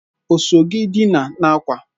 O so gi dina n'akwa?